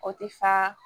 O tɛ fa